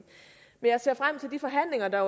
jeg ser frem til de forhandlinger der